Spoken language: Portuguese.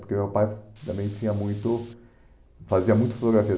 Porque meu pai também tinha muito fazia muito fotografia.